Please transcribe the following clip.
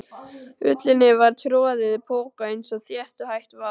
Ullinni var troðið í poka eins þétt og hægt var.